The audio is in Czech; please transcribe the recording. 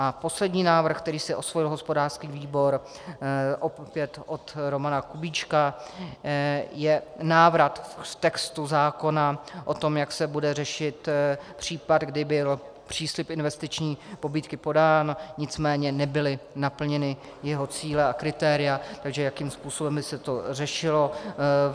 A poslední návrh, který si osvojil hospodářský výbor, opět od Romana Kubíčka, je návrat k textu zákona o tom, jak se bude řešit případ, kdy byl příslib investiční pobídky podán, nicméně nebyly naplněny jeho cíle a kritéria, takže jakým způsobem by se to řešilo.